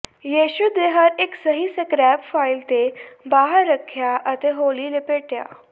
ਯਿਸੂ ਦੇ ਹਰ ਇੱਕ ਸਹੀ ਸਕਰੈਪ ਫੁਆਇਲ ਤੇ ਬਾਹਰ ਰੱਖਿਆ ਅਤੇ ਹੌਲੀ ਲਪੇਟਿਆ